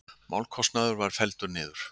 Málskostnaður var felldur niður